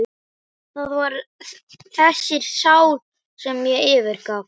Það var þessari sál sem ég fyrirgaf.